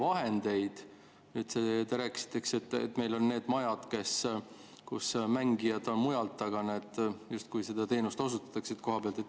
Teiseks, te rääkisite, eks, et meil on need majad, kus mängijad on mujalt, aga seda teenust osutatakse justkui koha peal.